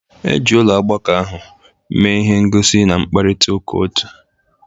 Eji ụlọ ọgbakọ ahụ mee ihe ngosi na mkparịta ụka otu.